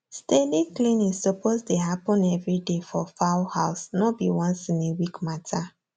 steady cleaning suppose dey happen every day for fowl house no be once in a week matter